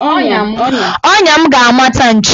Ọnya m ga-amata nchi.